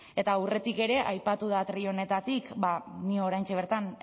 eta aurretik ere aipatu da atril honetatik ni oraintxe bertan